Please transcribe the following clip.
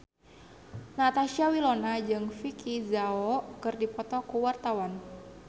Natasha Wilona jeung Vicki Zao keur dipoto ku wartawan